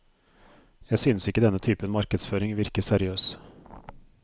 Jeg synes ikke denne typen markedsføring virker seriøs.